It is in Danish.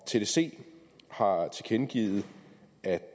tdc har tilkendegivet at